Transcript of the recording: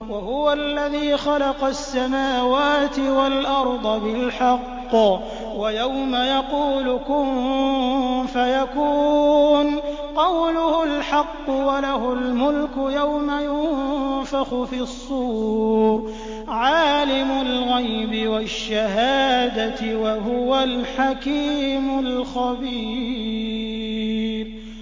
وَهُوَ الَّذِي خَلَقَ السَّمَاوَاتِ وَالْأَرْضَ بِالْحَقِّ ۖ وَيَوْمَ يَقُولُ كُن فَيَكُونُ ۚ قَوْلُهُ الْحَقُّ ۚ وَلَهُ الْمُلْكُ يَوْمَ يُنفَخُ فِي الصُّورِ ۚ عَالِمُ الْغَيْبِ وَالشَّهَادَةِ ۚ وَهُوَ الْحَكِيمُ الْخَبِيرُ